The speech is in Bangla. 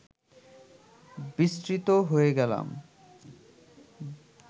বিস্মৃত হয়ে গেলাম